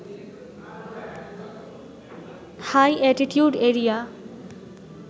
high altitude area